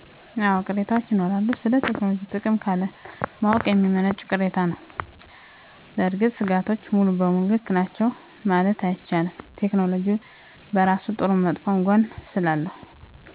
አወ ቅሬታወች ይኖራሉ ስለ ቴክኖሎጅ ጥቅም ካለማወቅ የሚመነጭ ቅሬታ ነዉ። በእርግጥ ሰጋቶቹ ሙሉ በሙሉ ልክ ናቸዉ መማለት አይቻልም። ቴክኖሎጅ በራሱ ጥሩም መጥፎም ጎን ስላለው